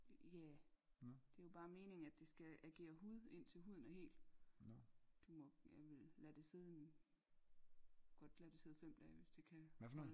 Ja det er jo bare meningen at det skal agere hud indtil huden er hel du må vel lade det sidde en godt lade det sidde fem dage hvis det kan holde